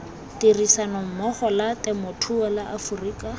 tirisanommogo la temothuo la aforika